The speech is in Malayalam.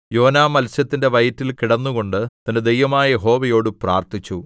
യോനാ മത്സ്യത്തിന്റെ വയറ്റിൽ കിടന്നുകൊണ്ട് തന്റെ ദൈവമായ യഹോവയോട് പ്രാർത്ഥിച്ചു